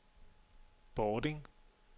Bording